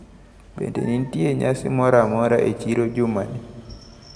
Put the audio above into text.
Bende nitiere nyasi moramora e chiro jumani?